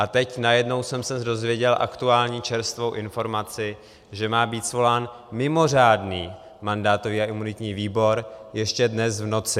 A teď najednou jsem se dověděl aktuální, čerstvou informaci, že má být svolán mimořádný mandátový a imunitní výbor ještě dnes v noci.